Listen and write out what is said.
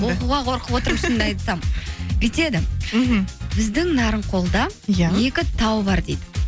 оқуға қорқып отырмын шынымды айтсам бүйтеді мхм біздің нарынқолда иә екі тау бар дейді